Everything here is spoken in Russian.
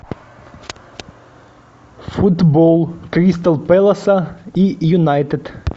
футбол кристал пэласа и юнайтед